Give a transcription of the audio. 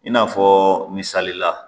I n'a fɔ misalila